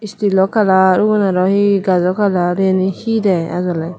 steal o colour ubon aro he gajo colour iyani he de ajoley.